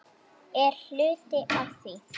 Er hluti af því?